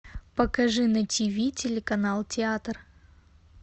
покажи на тв телеканал театр